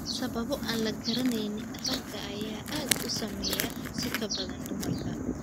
Sababo aan la garanayn, ragga ayaa aad u saameeya si ka badan dumarka.